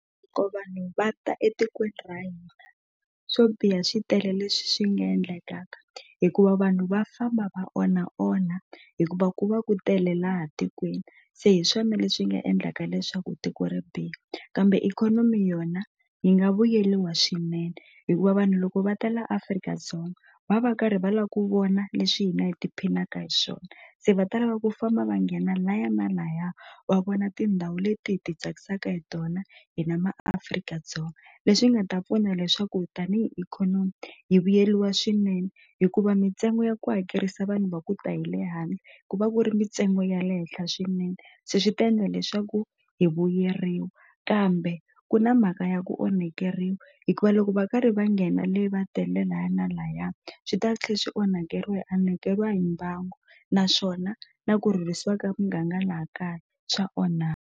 vanhu va ta etikweni ra hina swo biha swi tele leswi swi nga endlekaka hikuva vanhu va famba va onha onha hikuva ku va ku tele laha tikweni se hi swona leswi nga endlaka leswaku tiko ri biha kambe ikhonomi yona hi nga vuyeliwa swinene hikuva vanhu loko va ta la Afrika-Dzonga va va karhi va la ku vona leswi hina hi ti phinaka hi swona se va ta lava ku famba va nghena laya na laya va vona tindhawu leti hi ti tsakisaka hi tona hina maAfrika-Dzonga leswi nga ta pfuna leswaku tanihi ikhonomi hi vuyeriwa swinene hikuva mintsengo ya ku hakerisa vanhu va ku ta hi le handle ku va ku ri mintsengo ya le henhla swinene se swi ta endla leswaku hi vuyeriwa kambe ku na mhaka ya ku onhekeriwa hikuva loko va karhi va nghena le va tele laya na laya swi ta tlhe swi onhakeriwa hi onhakeriwa hi mbangu naswona na ku rhurhisiwa ka muganga laha kaya swa .